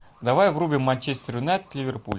давай врубим манчестер юнайтед ливерпуль